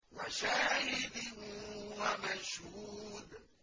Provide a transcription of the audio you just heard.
وَشَاهِدٍ وَمَشْهُودٍ